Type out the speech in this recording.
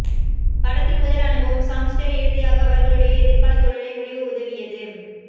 படத்தில் முதல் அனுபவம் சாங்க்ஸ்டெர் இறுதியாக அவர்களுடைய எதிர்கால தொழிலை முடிவு உதவியது